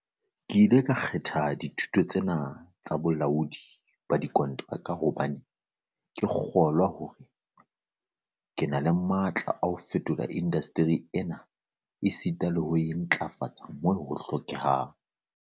"Ke ile ka kgetha dithuto tse na tsa bolaodi ba dikonteraka hobane ke kgolwa hore ke na le matla a ho fetola indasteri ena esita le ho e ntlafatsa moo ho hlokehang."